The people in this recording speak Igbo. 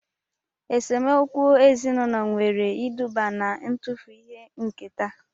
Esemokwu ezinaụlọ nwere iduba na-ntufu ihe nketa